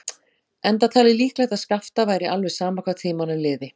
Enda talið líklegt að Skapta væri alveg sama hvað tímanum liði.